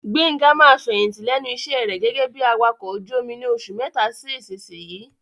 Gbenga máa fẹ̀yìntì lẹ́nu iṣẹ́ rẹ̀ gẹ́gẹ́ bí Awakọ̀ ojú omi ni oṣù mẹ́ta sí ìsinsìnyí.